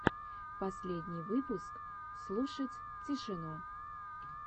последний выпуск слушать тишину